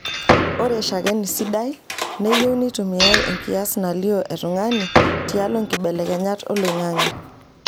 Ore shakeni sidai neyieu neitumiyai enkias nalio e tungani tialo nkibelekenyat oloing'ang'e.